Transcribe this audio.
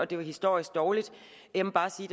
det var historisk dårligt jeg må bare sige